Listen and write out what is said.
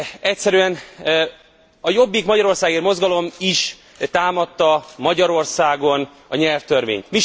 Egyszerűen a Jobbik Magyarországért Mozgalom is támadta Magyarországon a nyelvtörvényt.